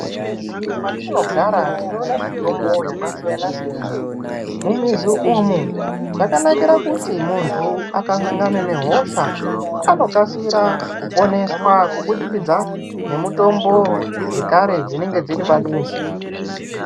Mumizi matinogara tinoona mitombo yakasiyana siyana mumizi umu zvakanakira kuti muntu akasangana nehosha anokasira kuponeswa kubudikidza nemitombo dzekare dzinemge dziri pamizi.